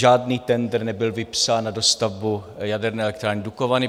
Žádný tendr nebyl vypsán na dostavbu jaderné elektrárny Dukovany.